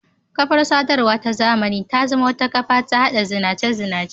Kafar-sadarwa ta zamani ta zama wata kafa ta haɗa zinace-zinace.